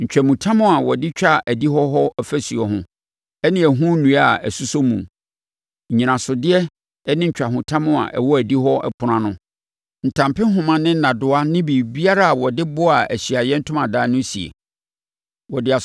ntwahotam a wɔde twa adihɔ hɔ ɔfasuo ho, ne ɛho nnua a ɛsosɔ mu, nnyinasodeɛ ne ntwahotam a ɛwɔ adihɔ ɛpono ano, ntampehoma ne nnadewa ne biribiara a wɔde boaa Ahyiaeɛ Ntomadan no sie.